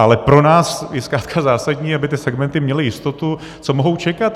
Ale pro nás je zkrátka zásadní, aby ty segmenty měly jistotu, co mohou čekat.